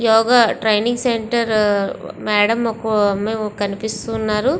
యోగ training center వక madam కనిపెస్తునారు.